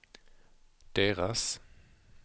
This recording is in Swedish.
deras